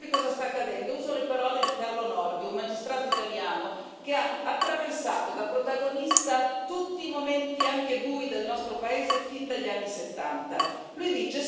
Però, per spiegarvi cosa sta accadendo, uso le parole di Carlo Nordio, un magistrato italiano che ha attraversato da protagonista tutti i momenti, anche bui, del nostro paese fin dagli anni Settanta.